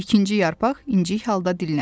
İkinci yarpaq incik halda dilləndi.